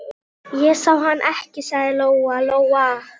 Mér hefur alltaf verið meinilla við þá.